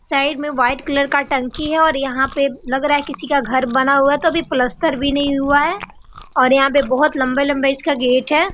Side में white colour का टंकी हैऔर यहाँ पे लग रहा है किसी का घर बना हुआ है तो अभी पलस्तर भी नहीं हुआ है और यहाँ पे बहुत लंबे-लंबे इसका गेट है।